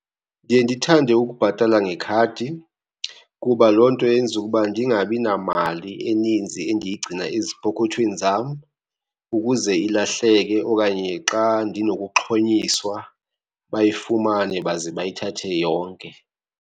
Ndiye ndithande ukubhatala ngekhadi kuba loo nto yenza ukuba ndingabi namali eninzi endiyigcina ezipokothweni zam ukuze ilahleke okanye xa ndinokuxhonyiswa, bayifumane baze bayithathe yonke.